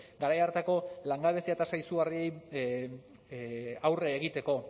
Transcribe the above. garai hartako langabezia tasa izugarriari aurre egiteko